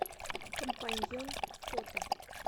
компаньон фото